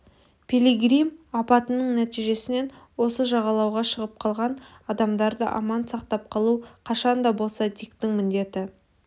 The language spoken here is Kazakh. пилигрим апатының нәтижесінен осы жағалауға шығып қалған адамдарды аман сақтап қалу қашан да болса диктің міндеті